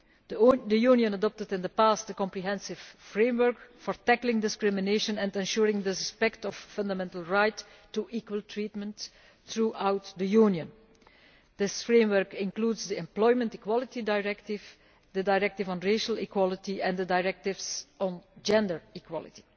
The Union adopted in the past a comprehensive framework for tackling discrimination and ensuring respect for fundamental rights to equal treatment throughout the Union. This framework includes the Employment Equality Directive, the Directive on Racial Equality and the directives on gender equality.